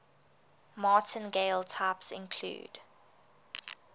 martingale types include